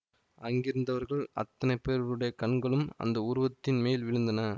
அங்கிருந்தவர்கள் அத்தனை பேருடைய கண்களும் அந்த உருவத்தின் மேல் விழுந்தன